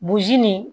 nin